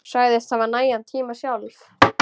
Segist hafa nægan tíma sjálf.